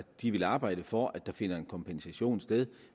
de ville arbejde for at der finder en kompensation sted